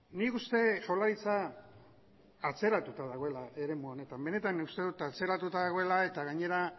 nik uste jaurlaritza atzeratuta dagoela eremu honetan benetan uste dut atzeratuta dagoela eta gainera